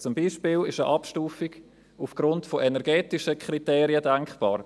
Zum Beispiel ist eine Abstufung aufgrund von energetischen Kriterien denkbar.